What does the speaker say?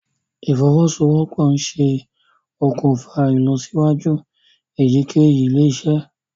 ìfowosowopo nṣe òkùnfà ìlọsíwájú eyikeyi ilé-isé